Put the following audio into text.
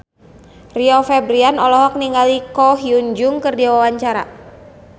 Rio Febrian olohok ningali Ko Hyun Jung keur diwawancara